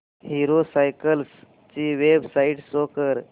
hero cycles ची website show कर